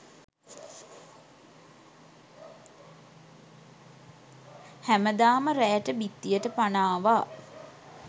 හැමදාම රෑට බිත්තියට පණ ආවා.